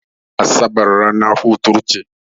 Asabar ranar hutu ce.